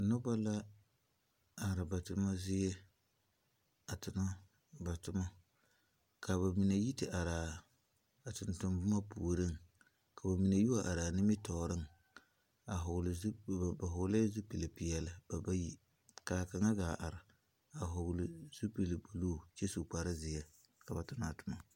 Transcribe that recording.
Noba la are ba toma zie a tona ba toma ka ba mine yi te are a tontonne boma puoriŋ k'o mine yi wa are nimitɔɔreŋ a vɔglɛɛ zupili ba vɔgle la zupili peɛle ba bayi ka a kaŋa gaa are a vɔgle zupili buluu kyɛ su kpare zeɛ ka ba tona a toma.